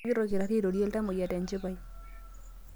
Kegira olkitari airorie iltamoyia tenchipai.